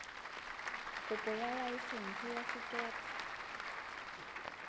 kopo ya laesense ya sekepe